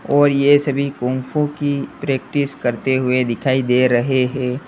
और यह सभी की प्रैक्टिस करते हुए दिखाई दे रहे हैं।